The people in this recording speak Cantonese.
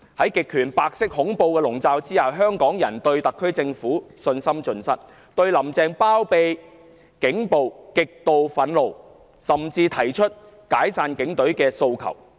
在極權白色恐怖的籠罩下，香港人對特區政府信心盡失，對"林鄭"包庇警暴極度憤怒，甚至提出"解散警隊"的訴求。